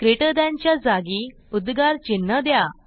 greater than च्या जागी उद्गार चिन्ह द्या